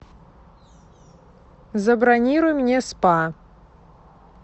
забронируй мне спа